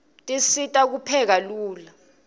tisisita kupheka lula